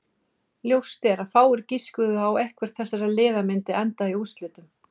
Ljóst er að fáir giskuðu á að eitthvert þessara liða myndi enda í úrslitunum.